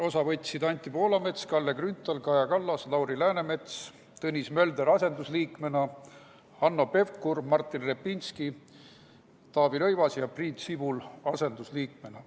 Osa võtsid Anti Poolamets, Kalle Grünthal, Kaja Kallas, Lauri Läänemets, Tõnis Mölder asendusliikmena, Hanno Pevkur, Martin Repinski, Taavi Rõivas ja Priit Sibul asendusliikmena.